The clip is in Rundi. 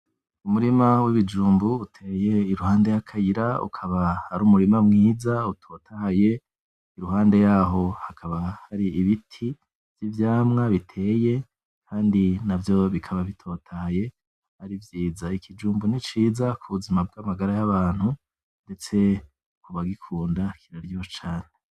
Umurima wibijumbu uteye iruhande yakayira , akaba ari umutima mwiza utotahaye iruhande yaho hakaba ibiti vyivyamwa biteye Kandi navyo bikaba bitotahaye ari vyiza, ikijumbu niciza kubuzima bwamagara yabantu ndetse no kubagikunda kiraryoshe cane .